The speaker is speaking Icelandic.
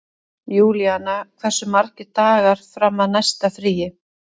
Júlíanna, hversu margir dagar fram að næsta fríi?